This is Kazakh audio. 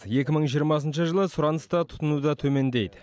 екі мың жиырмасыншы жылы сұраныс та тұтыну да төмендейді